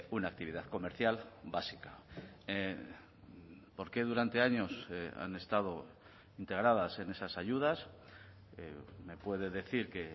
una actividad comercial básica por qué durante años han estado integradas en esas ayudas me puede decir que